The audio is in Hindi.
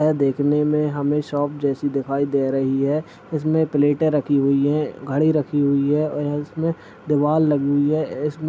देखने में हमे शॉप जैसी दिखाई दे रही है इसमें प्लेटे रखी हुयी है घडी रखी हुयी है और उसमे दीवाल लगी हुयी है और इसमें--